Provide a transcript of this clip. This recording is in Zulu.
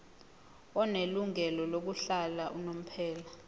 onelungelo lokuhlala unomphela